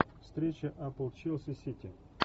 встреча апл челси сити